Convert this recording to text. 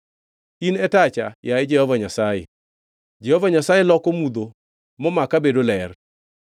In e tacha, yaye Jehova Nyasaye Jehova Nyasaye loko mudho momaka bedo ler.